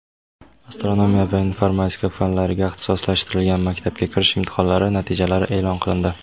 astronomiya va informatika fanlariga ixtisoslashtirilgan maktabga kirish imtihonlari natijalari e’lon qilindi.